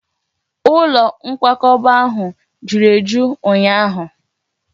Ụlọ nkwakọba ahụ juru eju ụnyaahụ